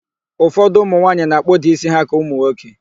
Ụfọdụ ụmụnwaanyị na-akpụda ísí ha ka ụmụnwoke